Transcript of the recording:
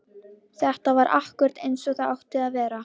Þetta var akkúrat eins og það átti að vera!